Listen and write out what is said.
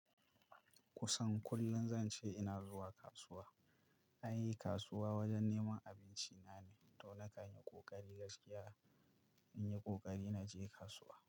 Kusan kullum zan ce ina zuwa kasuwa. Ai kasuwa wajen neman abinci na ne to na kanyi ƙoƙari gaskiya in yi ƙoƙari na je kasuwa.